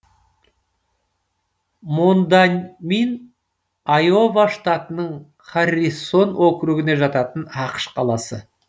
мондамин айова штатының харрисон округіне жататын ақш қаласы